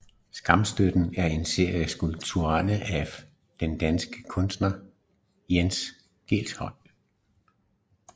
Skamstøtten er en serie skulpturer af den danske kunstner Jens Galschiøt